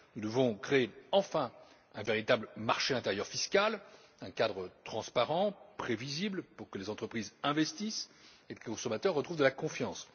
Nous devons enfin créer un véritable marché intérieur fiscal, un cadre transparent et prévisible pour que les entreprises investissent et que le consommateur retrouve confiance.